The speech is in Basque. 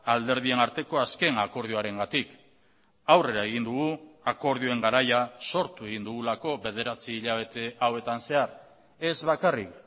alderdien arteko azken akordioarengatik aurrera egin dugu akordioen garaia sortu egin dugulako bederatzi hilabete hauetan zehar ez bakarrik